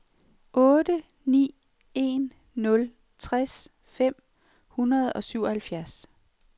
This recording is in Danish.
otte ni en nul tres fem hundrede og syvoghalvfjerds